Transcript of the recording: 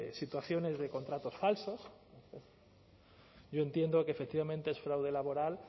situaciones de contratos falsos yo entiendo que efectivamente es fraude laboral